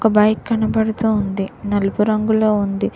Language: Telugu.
ఒక బైక్ కనబడుతోంది నలుపు రంగులో ఉంది.